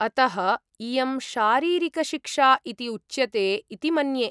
अतः इयं शारीरिकशिक्षा इति उच्यते इति मन्ये।